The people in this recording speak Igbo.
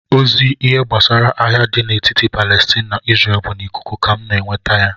Ozi ihe gbasara agha dị n'etiti Palestine na Isreal bụ n'ikuku ka m na-enweta ya